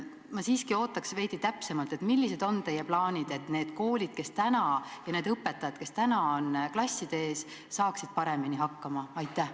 Ma siiski ootan veidi täpsemat ülevaadet, millised on teie plaanid kaasa aidata, et need koolid ja need õpetajad, kes praegu on klasside ees, saaksid paremini hakkama?